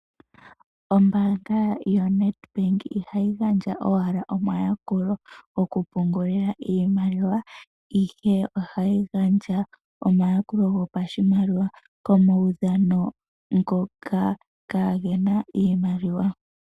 Ombaanga yoNEDBANK ihayi gandja owala omayakulo gokupungulila iimaliwa ihe ohayi gandja omayakulo goshimaliwa koudhano ngoka kaagena iimaliwa.